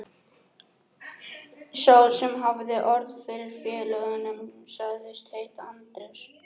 Sá sem hafði orð fyrir félögunum sagðist heita Andrés.